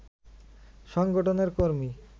সংগঠনের কর্মী